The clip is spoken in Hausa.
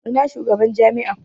Ina shugaban jami'a?